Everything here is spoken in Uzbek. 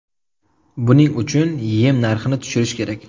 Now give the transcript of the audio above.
Buning uchun yem narxini tushirish kerak.